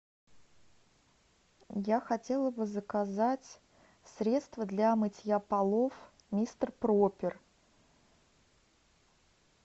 я хотела бы заказать средство для мытья полов мистер пропер